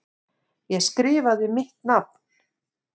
Ég skrifaði mitt nafn.